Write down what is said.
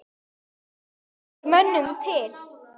Hvað gengur mönnum til?